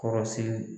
Kɔrɔsigi